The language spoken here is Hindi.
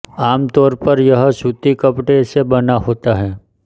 आम तौर पर यह सूती कपड़े से बना होता है